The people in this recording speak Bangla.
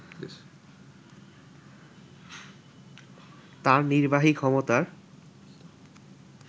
তার নির্বাহী ক্ষমতার